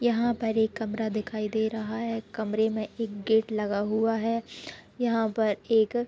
यहाँ पर एक कमरा दिखाई दे रहा है कमरे में एक गेट लगा हुआ है यहाँ पर एक--